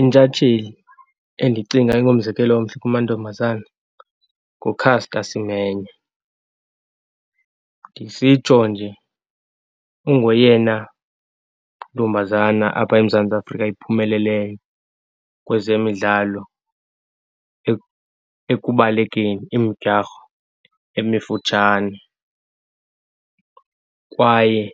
Intshatsheli endicinga ingumzekelo omhle kumantombazana nguCaster Semenye. Ndisitsho nje ungoyena ntombazana apha eMzantsi Afrika iphumeleleyo kwezemidlalo, ekubalekeni imidyarho emifutshane. Kwaye